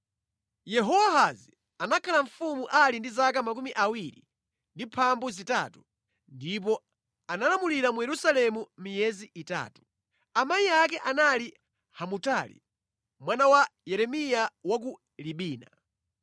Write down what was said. Yehowahazi anakhala mfumu ali ndi 23 ndipo analamulira mu Yerusalemu miyezi itatu. Amayi ake anali Hamutali, mwana wa Yeremiya wa ku Libina.